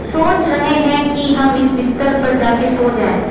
सोच रहे हैं कि हम इस बिस्तर पर जाके सो जाएं।